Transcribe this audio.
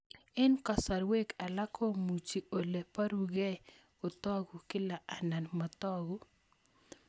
Eng' kasarwek alak komuchi ole parukei kotag'u kila anan matag'u